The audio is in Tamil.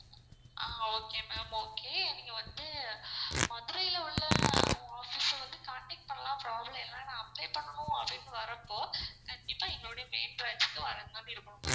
ஆஹ் okay ma'am okay நீங்க வந்து மதுரை ல உள்ள office அ வந்து contact பண்லாம் problem இல்ல அனா apply பண்ணனும் அப்படினு வர்ரப்போ கண்டிப்பா எங்களுடைய main branch க்கு வரமாறி இருக்கும் ma'am.